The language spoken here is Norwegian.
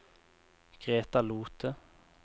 Greta Lothe